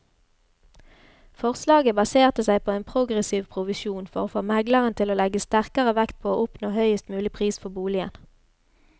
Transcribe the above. Forslaget baserte seg på en progressiv provisjon for å få megleren til å legge sterkere vekt på å oppnå høyest mulig pris for boligen.